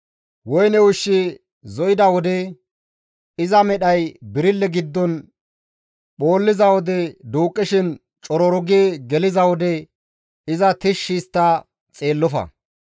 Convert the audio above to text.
Woyne ushshi zo7ida wode, iza medhay birille giddon phoolliza wode, duuqqishin cororu gi geliza wode iza tishshi histta xeellofa.